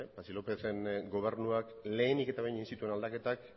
patxi lópezen gobernuak lehenik eta behin egin zituen aldaketak